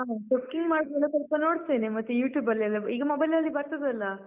ಹ. cooking ಮಾಡುದೆಲ್ಲ ಸ್ವಲ್ಪ ನೋಡ್ತೇನೆ, ಮತ್ತೆ YouTube ಅಲ್ಲೆಲ್ಲ ಈಗ mobile ಅಲ್ಲಿ ಬರ್ತದಲ್ಲ?